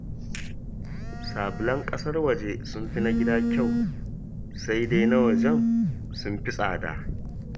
Sabulan ƙasar waje sun fi na gida kyau, sai dai na wajen sun fi tsada